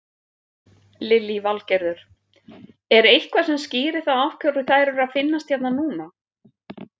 Lillý Valgerður: Er eitthvað sem skýrir það af hverju þær eru að finnast hérna núna?